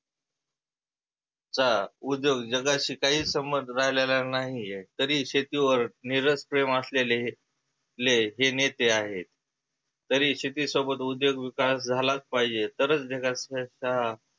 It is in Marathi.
चा उद्योग जगाशी काही संबंध राहिलेला नाहीए तरी शेतीवर निरस प्रेम असलेले ले हे नेते आहेत. तरी शेती सोबत उद्योग विकास झालाच पाहिजे तरच जगा